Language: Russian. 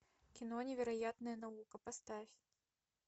кино невероятная наука поставь